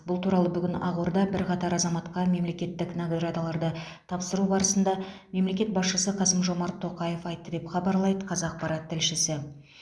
бұл туралы бүгін ақордада бірқатар азаматқа мемлекеттік наградаларды тапсыру барысында мемлекет басшысы қасым жомарт тоқаев айтты деп хабарлайды қазақпарат тілшісі